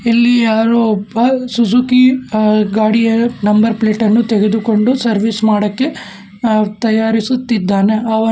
ಇಲ್ಲಿ ಯಾರೋ ಒಬ್ಬ ಸುಜುಕಿ ಅ ಗಾಡಿಯ ನಂಬರ್ ಪ್ಲೇಟ್ ಅನ್ನು ತೆಗೆದುಕೊಂಡು ಸರ್ವಿಸ್ ಮಾಡೋಕೆ ಅ ತಯಾರಿಸುತ್ತಿದ್ದಾನೆ ಅವನು--